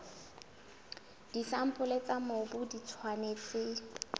disampole tsa mobu di tshwanetse